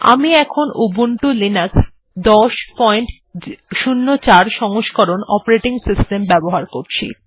আমি এখন Ubuntu Linux ১০০৪ সংস্করণ অপারেটিং সিস্টেম ব্যবহার করছি